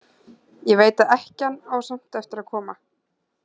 Ég veit að ekkjan á samt eftir að koma.